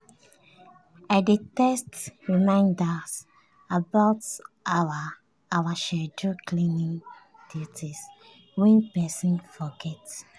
i dey text reminders about our our scheduled cleaning duties when person forget.